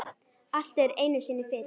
Allt er einu sinni fyrst.